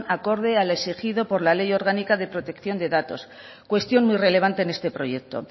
acorde al exigido por la ley orgánica de protección de datos cuestión muy relevante en este proyecto